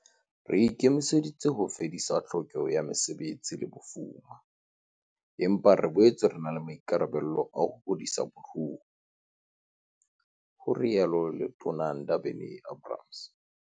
"Re ikemiseditse ho fedisa tlhokeho ya mesebetsi le bofuma, empa re boetse re na le maikarabelo a ho hodisa moruo," ho rialo Letona Ndabeni-Abrahams.